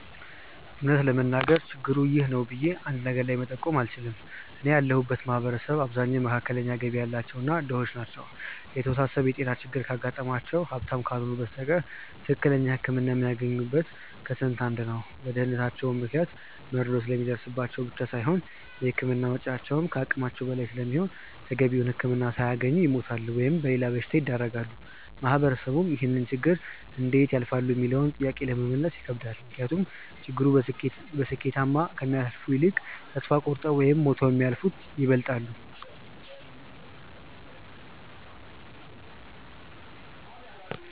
እውነት ለመናገር ችግሩ 'ይህ ነው' ብዬ አንድ ነገር ላይ መጠቆም አልችልም። እኔ ያለሁበት ማህበረሰብ አብዛኛው መካከለኛ ገቢ ያላቸው እና ድሆች ናቸው። የተወሳሰበ የጤና ችግር ካጋጠማቸው ሀብታም ካልሆኑ በስተቀር ትክክለኛ ህክምና የሚያገኘው ከስንት አንድ ነው። በድህነታቸው ምክንያት መድሎ ስለሚደርስባቸው ብቻ ሳይሆን የህክምና ወጪው ከአቅማቸው በላይ ስለሚሆን ተገቢውን ህክምና ሳያገኙ ወይ ይሞታሉ ወይም ለሌላ በሽታ ይዳረጋሉ። ማህበረሰቡም ይህንን ችግር እንዴት ያልፋሉ ሚለውንም ጥያቄ ለመመለስ ይከብዳል። ምክንያቱም ችግሩን በስኬታማ ከሚያልፉት ይልቅ ተስፋ ቆርጠው ወይም ሞተው የሚያልፉት ይበልጣሉ።